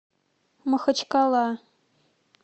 махачкала